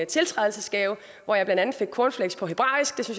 tiltrædelsesgave hvor jeg blandt andet fik cornflakes på hebraisk det